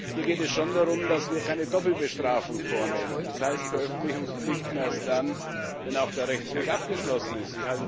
Hier geht es schon darum, dass wir keine Doppelbestrafung vornehmen das heißt Veröffentlichungspflichten erst dann, wenn auch der Rechtsweg abgeschlossen ist.